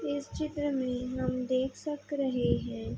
इस चित्र में हम देख सक रहे हैं।